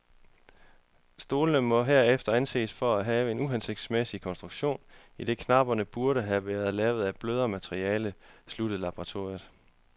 Stolen må herefter anses for at have en uhensigtsmæssig konstruktion, idet knapperne burde have været lavet af et blødere materiale, sluttede laboratoriet.